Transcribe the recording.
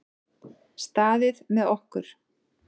Staðið með okkur